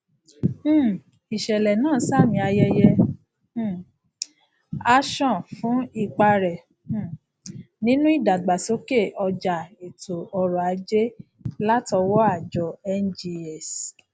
um ìṣẹlẹ náà ṣamí ayẹyẹ um ashon fún ipa rẹ um nínú ìdàgbàsókè ọjà ètò oròajé latọwọ àjọ ngx